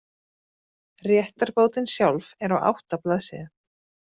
Réttarbótin sjálf er á átta blaðsíðum.